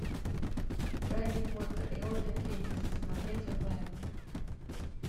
гарри поттер и орден феникса смотреть онлайн